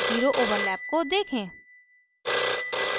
zero overlap को देखें